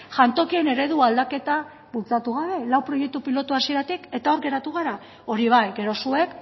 jantokien eredu aldaketa bultzatu gabe lau proiektu pilotu hasieratik eta hor geratu gara hori bai gero zuek